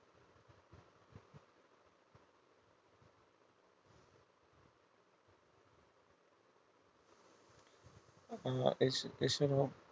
আহ এ ছাড়াও